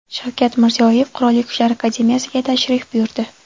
Shavkat Mirziyoyev Qurolli Kuchlar akademiyasiga tashrif buyurdi.